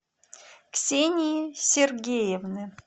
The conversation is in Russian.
ксении сергеевны